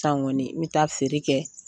San kɔni n mi taa feere kɛ.